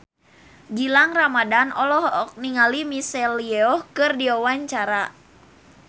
Gilang Ramadan olohok ningali Michelle Yeoh keur diwawancara